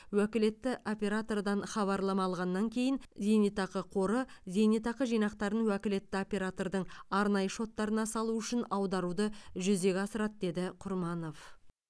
уәкілетті оператордан хабарлама алғаннан кейін зейнетақы қоры зейнетақы жинақтарын уәкілетті оператордың арнайы шоттарына салу үшін аударуды жүзеге асырады деді құрманов